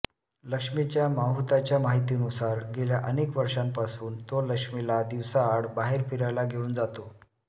लक्ष्मीच्या माहुताच्या माहितीनुसार गेल्या अनेक वर्षांपासून तो लक्ष्मीला दिवसाआड बाहेर फिरायला घेऊन जातो